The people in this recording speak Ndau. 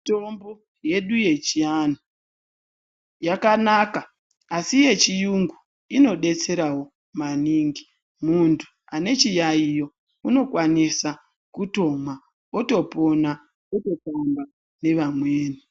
Mitombo yedu yechiantu yakanaka asi yechirungu inodetserawo maningi muntu ane chiyaiyo anokwanisa kutomwa otopona ototamba nevamweni.